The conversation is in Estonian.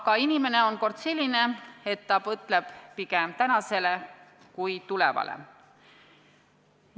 Aga inimene on kord selline, et ta mõtleb pigem tänasele kui tulevale.